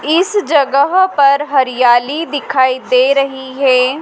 इस जगह पर हरियाली दिखाई दे रही है।